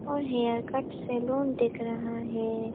और haircut salon दिख रहा है।